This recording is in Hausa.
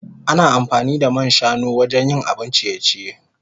Ana amfani da man shanu wajen yin abun ciye-ciye.